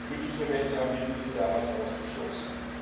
Glücklicherweise haben wir diese damals ausgeschlossen.